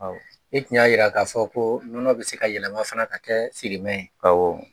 I tun y'a jira k'a fɔ ko nɔnɔ bɛ se ka yɛlɛma fana ka kɛ sirimɛ ye